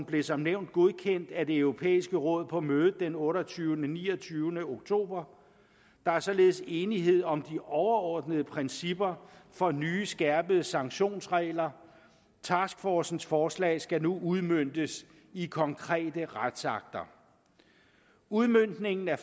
blev som nævnt godkendt af det europæiske råd på mødet den otteogtyvende og niogtyvende oktober der er således enighed om de overordnede principper for nye skærpede sanktionsregler taskforcens forslag skal nu udmøntes i konkrete retsakter udmøntningen af